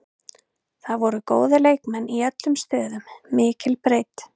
Það voru góðir leikmenn í öllum stöðum, mikil breidd.